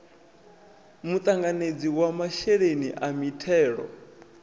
muṱanganedzi wa masheleni a mithelo